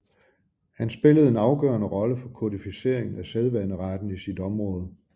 Han spillede en afgørende rolle for kodificeringen af sædvaneretten i sit område